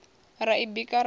ra i bika ra ḽa